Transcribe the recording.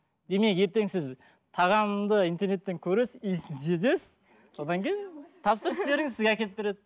демек ертең сіз тағамды интернеттен көресіз иісін сезесіз содан кейін тапсырыс беріңіз сізге әкеліп береді